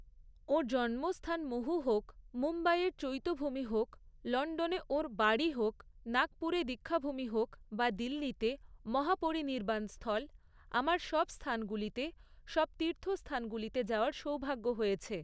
ওঁর জন্মস্থান মহু হোক, মুম্বাইয়ের চৈত্যভূমি হোক, লন্ডনে ওঁর বাড়ী হোক, নাগপুরে দীক্ষাভূমি হোক বা দিল্লিতে মহাপরিনির্বাণ স্থল, আমার সব স্থানগুলিতে, সব তীর্থস্থানগুলিতে যাওয়ার সৌভাগ্য হয়েছে।